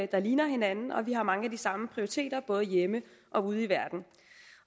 der ligner hinanden og vi har mange af de samme prioriteter både hjemme og ude i verden